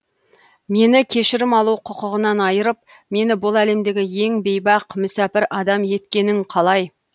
мені кешірім алу құқығынан айырып мені бұл әлемдегі ең бейбақ мүсәпір адам еткенін қалай